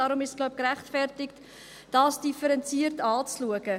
Deshalb ist es, wie ich glaube, auch gerechtfertigt, dies differenziert anzuschauen.